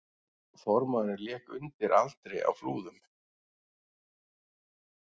Formaðurinn lék undir aldri á Flúðum